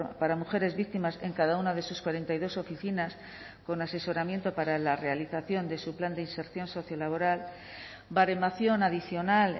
para mujeres víctimas en cada una de sus cuarenta y dos oficinas con asesoramiento para la realización de su plan de inserción sociolaboral baremación adicional